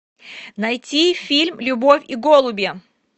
найти фильм любовь и голуби